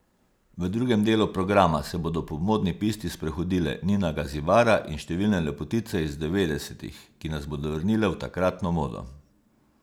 V drugem delu programa se bodo po modni pisti sprehodile Nina Gazibara in številne lepotice iz devetdesetih, ki nas bodo vrnile v takratno modo.